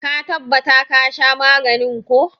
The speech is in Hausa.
Ka tabbata ka sha maganin ko!